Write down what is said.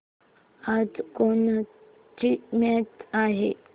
आज कोणाची मॅच आहे